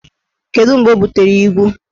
Kedu mgbe o butere igwu?